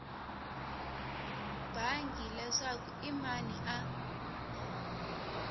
bangi leswaku i mani a